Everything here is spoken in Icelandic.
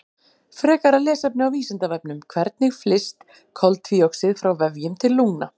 Frekara lesefni á Vísindavefnum: Hvernig flyst koltvíoxíð frá vefjum til lungna?